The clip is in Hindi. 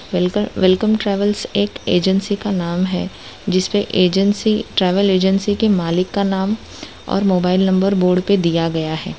वेलकम वेलकम ट्रैवल एक एजेंसी का नाम है जिसपे एजेंसी ट्रैवल एजेंसी के मालिक के नाम और मोबाइल नंबर बोर्ड पे दिया गया है।